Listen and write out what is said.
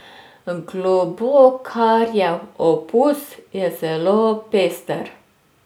Globokarjev opus je zelo pester.